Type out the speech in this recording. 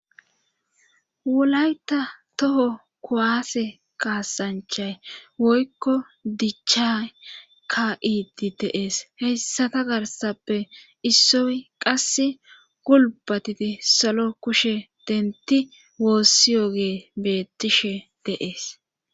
wolata toho kuwaase kaasanchay woykko dichay kaa7iiddi de7ees heyssata garssape issoy qassi gulbatidi salo kushe dentti woossiyoge beettishe de7es.